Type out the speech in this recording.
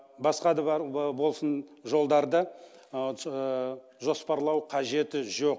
басқа да бар болсын жолдарды жоспарлау қажеті жоқ